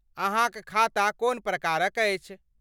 अहाँक खाता कोन प्रकारक अछि?